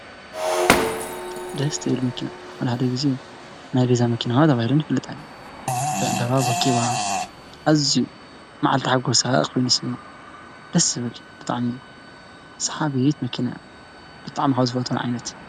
ደስ ትብል መኪና ሓድሓደ ግዜ ናይ ገዛ መኪና ተባሂለን ይፍለጣ ወቂባ ኣዝዩ መዓልቲ ሓጎሳ ኮይኑ ከዓ ይስማዓ ደስ ትብል ብጣዕሚ ሰሓቢት መኪና እያ። ብጣዕሚ ካብ ዝፈትዋ እያ፡፡